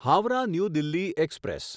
Howrah New Delhi express